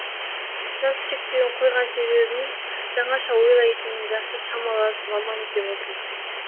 жас шектеуін қойған себебіміз жаңаша ойлайтын жасы шамалас маман іздеп отырмыз